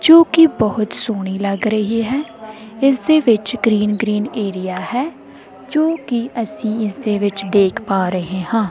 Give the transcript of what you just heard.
ਜੋ ਕਿ ਬਹੁਤ ਸੋਹਣੀ ਲੱਗ ਰਹੀ ਹੈ ਇਸ ਦੇ ਵਿੱਚ ਗ੍ਰੀਨ ਗ੍ਰੀਨ ਏਰੀਆ ਹੈ ਜੋ ਕਿ ਅਸੀ ਇਸਦੇ ਵਿੱਚ ਦੇਖ ਪਾਂ ਰਹੇ ਹਾਂ।